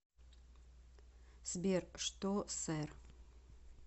сбер что сэр